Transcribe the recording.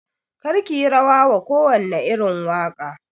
Kar kiyi rawa wa kowane irin waƙa